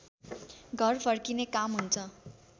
घर फर्किने काम हुन्छ